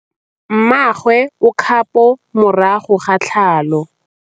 Mmagwe o kgapô morago ga tlhalô.